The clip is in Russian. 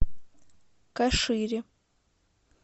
кашире